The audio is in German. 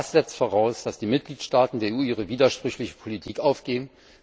Das setzt voraus, dass die Mitgliedstaaten der EU ihre widersprüchliche Politik aufgeben.